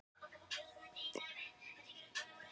Þetta er kallað vindkæling eins og spyrjandi segir réttilega.